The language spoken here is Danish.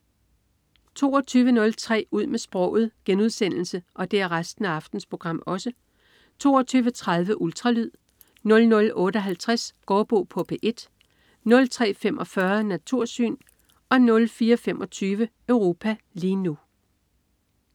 22.03 Ud med sproget* 22.30 Ultralyd* 00.58 Gaardbo på P1* 03.45 Natursyn* 04.25 Europa lige nu*